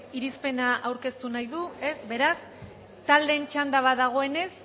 irizpena aurkeztu nahi du ez beraz taldeen txanda bat dagoenez